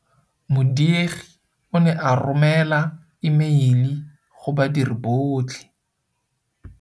Modiegi o ne a romêla emeili go badiri botlhe.